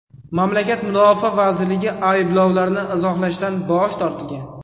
Mamlakat mudofaa vazirligi ayblovlarni izohlashdan bosh tortgan.